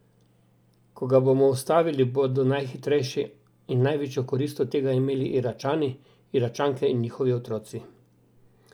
Ko ga bomo ustavili, bodo najhitrejšo in največjo korist od tega imeli Iračani, Iračanke in njihovi otroci.